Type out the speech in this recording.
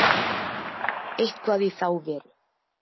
Eitthvað í þá veru.